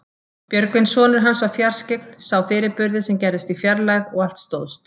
Björgvin sonur hans var fjarskyggn, sá fyrirburði sem gerðust í fjarlægð og allt stóðst.